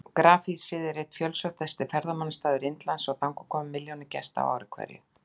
Grafhýsið er einn fjölsóttasti ferðamannastaður Indlands og þangað koma milljónir gesta á ári hverju.